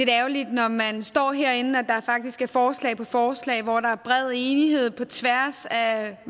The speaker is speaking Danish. når man står herinde er der faktisk forslag på forslag hvor der er bred enighed på tværs af